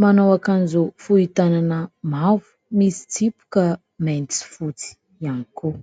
manao akanjo fohy tànana mavo, misy tsipika maintsy sy fotsy ihany koa.